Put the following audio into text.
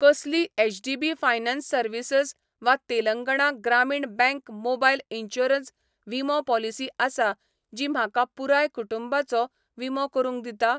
कसली HDB finance services वा तेलंगणा ग्रामीण बँक मोबायल इन्शुरन्स विमो पॉलिसी आसा जी म्हाका पुराय कुटुंबाचो विमो करूंक दिता ?